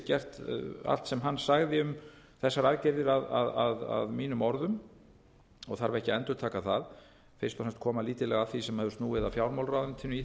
gert hér allt sem hann sagði um þessar aðgerðir að mínu orðum og þarf ekki að endurtaka það fyrst og fremst koma lítillega að því sem hefur snúið að fjármálaráðuneytinu í